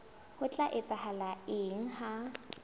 ho tla etsahala eng ha